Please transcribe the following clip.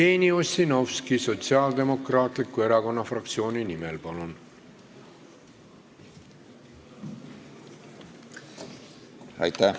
Jevgeni Ossinovski Sotsiaaldemokraatliku Erakonna fraktsiooni nimel, palun!